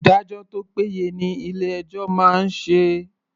Ìdájọ́ tó péye ni ilé ẹjọ́ máa ń ṣe.